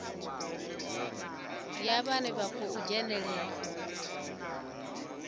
ya vhane vha khou dzhenelela